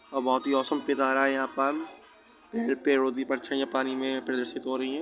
और बहुत ही ओसम पीटारा है यहाँ पर पेड़ पेड़ ओर की परछाईयाँ पानी में प्रदर्शित हो रही हैं।